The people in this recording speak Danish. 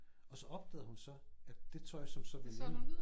Og så opdagede hun så at det tøj som så